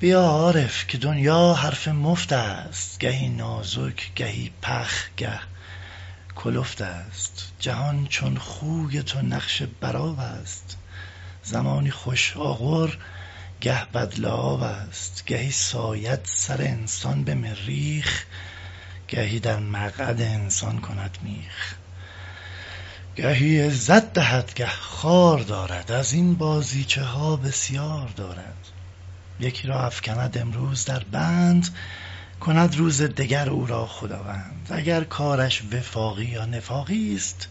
بیا عارف که دنیا حرف مفتست گهی نازک گهی پخ گه کلفت است جهان چون خوی تو نقش بر آبست زمانی خوش اغر گه بد لعابست گهی ساید سر انسان به مریخ گهی در مقعد انسان کند میخ گهی عزت دهد گه خوار دارد از این بازیچه ها بسیار دارد یکی را افکند امروز در بند کند روز دگر او را خداوند اگر کارش وفاقی یا نفاقیست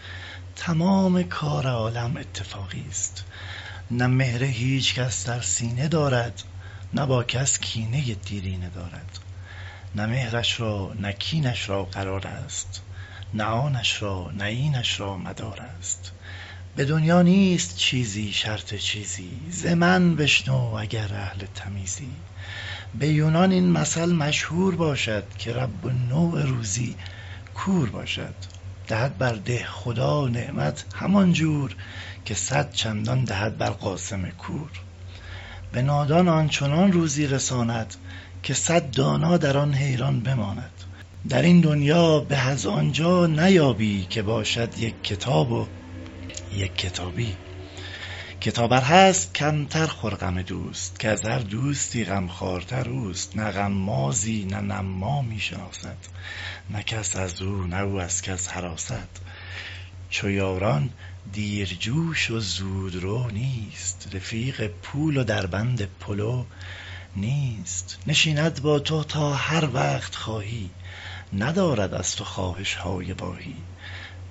تمام کار عالم اتفاقیست نه مهر هیچکس در سینه دارد نه با کس کینۀ دیرینه دارد نه مهرش را نه کینش را قرارست نه آنش را نه اینش را مدارست به دنیا نیست چیزی شرط چیزی ز من بشنو اگر اهل تمیزی به یونان این مثل مشهور باشد که رب النوع روزی کور باشد دهد بر دهخدا نعمت همان جور که صد چندان دهد بر قاسم کور به نادان آن چنان روزی رساند که صد دانا در آن حیران بماند در این دنیا به از آن جا نیابی که باشد یک کتاب و یک کتابی کتاب ار هست کمتر خور غم دوست که از هر دوستی غمخوارتر اوست نه غمازی نه نمامی شناسد نه کس از او نه او از کس هراسد چو یاران دیر جوش و زود رو نیست رفیق پول و در بند پلو نیست نشیند با تو تا هر وقت خواهی ندارد از تو خواهش های واهی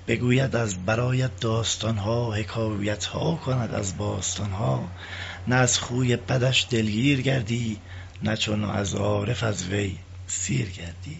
بگوید از برایت داستان ها حکایتها کند از باستان ها نه از خوی بدش دلگیر گردی نه همچون عارف از وی سیر گردی